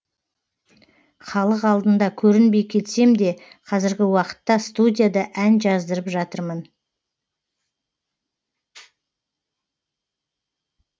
халық алдында көрінбей кетсем де қазіргі уақытта студияда ән жаздырып жатырмын